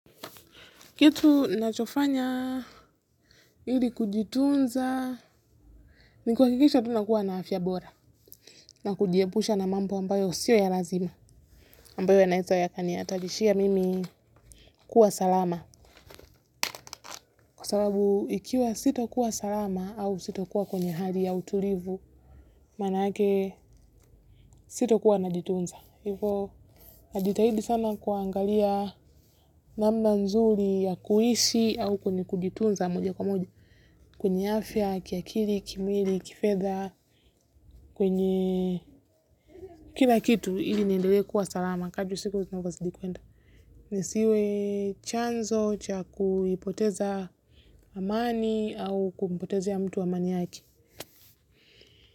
Kitu nachofanya ili kujitunza ni kuhakikisha tu nakuwa na afya bora na kujiepusha na mambo ambayo sio ya lazima ambayo ya naeza ya kani hatarishia mimi kuwa salama kwa sababu ikiwa sita kuwa salama au sito kuwa kwenye hali ya utulivu maanake sito kuwa na jitunza. Hivyo, najitahidi sana kuangalia namna nzuri ya kuishi au kwenye kujitunza moja kwa moja. Kwenye afya, kiakili, kimwili, kifedha, kwenye kila kitu ili niendelee kuwa salama. Kadri usiku zinavyozidi kuenda. Nisiwe chanzo cha kuipoteza amani au kumpotezea ya mtu amani yake.